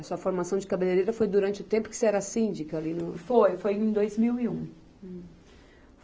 A sua formação de cabeleireira foi durante o tempo que você era síndica ali no. Foi, foi em dois mil e um.